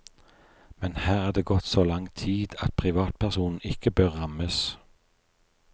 Men her er det gått så lang tid at privatpersonen ikke bør rammes.